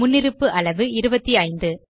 முன்னிருப்பு அளவு 25